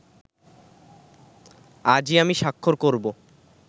আজই আমি স্বাক্ষর করবো